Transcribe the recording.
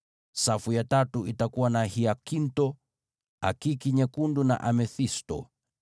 safu ya tatu itakuwa na hiakintho, akiki nyekundu na amethisto;